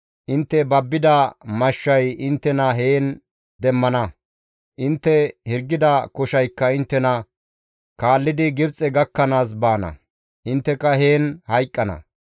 intte babbida mashshay inttena heen demmana; intte hirgida koshaykka inttena kaallidi Gibxe gakkanaas baana; intteka heen hayqqana.